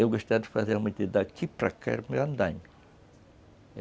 Eu gostava de fazer a medida de daqui para cá, era para o meu andaime.